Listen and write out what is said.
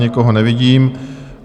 Nikoho nevidím.